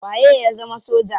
Waye ya zama soja?